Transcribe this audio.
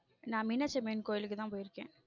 நான் மீனாட்சி அம்மன் கோயிலுக்கு தான் போயிருக்கேன்.